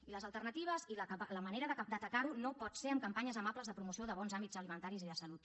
i les alternatives i la manera d’atacar ho no pot ser amb campanyes amables de promoció de bons hàbits alimentaris i de salut